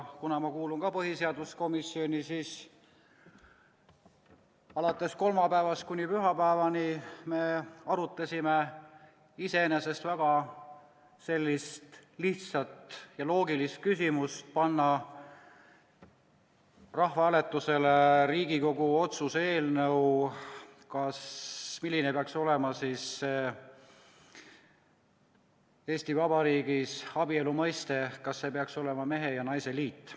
Kuna ma kuulun ka põhiseaduskomisjoni, siis ütlen, et alates kolmapäevast kuni pühapäevani me arutasime sellist iseenesest väga lihtsat ja loogilist asja, Riigikogu otsuse eelnõu: panna rahvahääletusele küsimus, milline peaks olema Eesti Vabariigis abielu mõiste, kas see peaks olema mehe ja naise liit.